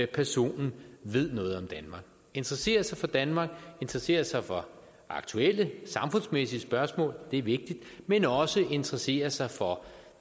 personen ved noget om danmark interesserer sig for danmark interesserer sig for aktuelle samfundsmæssige spørgsmål det er vigtigt men også interesserer sig for